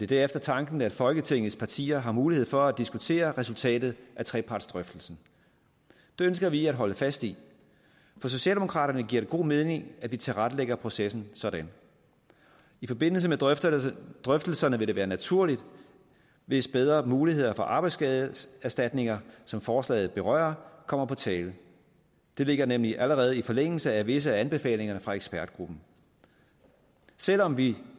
derefter tanken at folketingets partier har mulighed for at diskutere resultatet af trepartsdrøftelsen det ønsker vi at holde fast i for socialdemokraterne giver det god mening at vi tilrettelægger processen sådan i forbindelse med drøftelserne drøftelserne vil det være naturligt hvis bedre muligheder for arbejdsskadeerstatninger som forslaget berører kommer på tale det ligger nemlig allerede i forlængelse af visse af anbefalingerne fra ekspertgruppen selv om vi